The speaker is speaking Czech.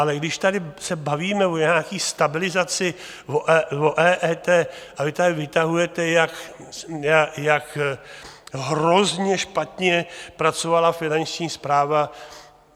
Ale když se tady bavíme o nějaké stabilizaci, o EET a vy tady vytahujete, jak hrozně špatně pracovala Finanční správa...